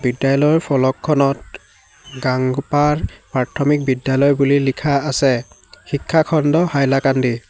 বিদ্যালয়ৰ ফলকখনত গাঙ্গপাৰ প্ৰাৰ্থমিক বিদ্যালয় বুলি লিখা আছে শিক্ষাখণ্ড-হাইলাকান্দি।